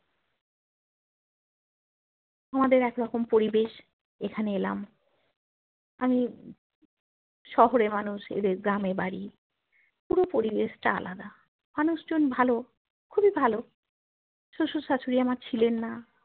আমাদের একরকম পরিবেশ এখানে এলাম আমি শহরে মানুষ এদের গ্রামে বাড়ি পুরো পরিবেশটা আলাদা মানুষজন ভালো খুবই ভালো শশুর শাশুড়িয়া আমার ছিলেন না